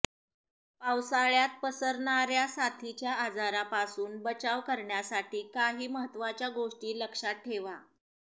पावसाळ्यात पसरणाऱ्या साथीच्या आजारांपासून बचाव करण्यासाठी काही महत्त्वाच्या गोष्टी लक्षात ठेवा